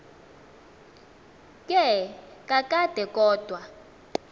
ke kakade kodwa